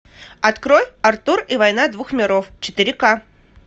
открой артур и война двух миров четыре ка